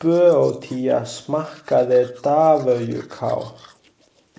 Böótía smakkaði davöjkál.